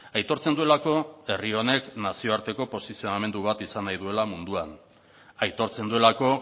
aitortzen duelako herri honek nazioarteko posizionamendu bat izan nahi duela munduan aitortzen duelako